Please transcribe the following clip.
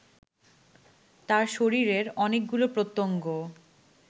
তার শরীরের অনেকগুলো প্রত্যঙ্গ